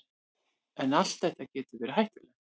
En allt þetta getur verið hættulegt.